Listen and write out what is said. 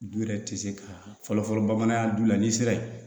Du yɛrɛ tɛ se ka fɔlɔfɔlɔ bamanankan du la n'i sera ye